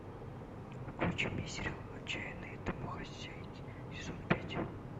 включи мне сериал отчаянные домохозяйки сезон пять